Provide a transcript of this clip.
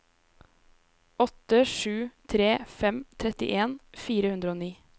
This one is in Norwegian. åtte sju tre fem trettien fire hundre og ni